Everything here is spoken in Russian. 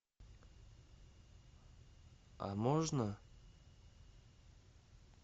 а можно